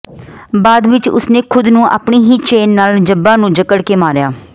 ਬਾਅਦ ਵਿਚ ਉਸਨੇ ਖੁਦ ਨੂੰ ਆਪਣੀ ਹੀ ਚੇਨ ਨਾਲ ਜੱਬਾ ਨੂੰ ਜਕੜ ਕੇ ਮਾਰਿਆ